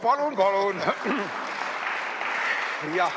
Palun-palun!